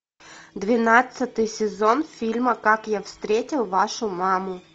двенадцатый сезон фильма как я встретил вашу маму